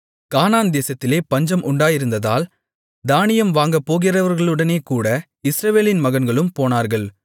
கானான் தேசத்திலே பஞ்சம் உண்டாயிருந்ததால் தானியம் வாங்கப்போகிறவர்களுடனேகூட இஸ்ரவேலின் மகன்களும் போனார்கள்